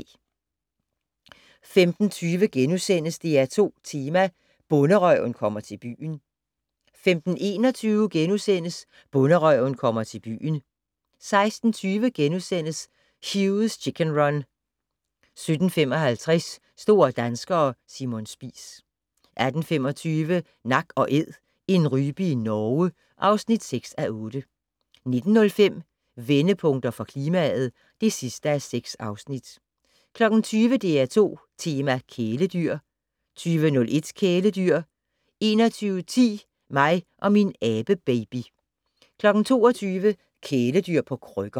15:20: DR2 Tema: Bonderøven kommer til byen * 15:21: Bonderøven kommer til byen * 16:20: Hugh's Chicken Run * 17:55: Store danskere - Simon Spies 18:25: Nak & Æd - en rype i Norge (6:8) 19:05: Vendepunkter for klimaet (6:6) 20:00: DR2 Tema: Kæledyr 20:01: Kæledyr 21:10: Mig og min abebaby 22:00: Kæledyr på krykker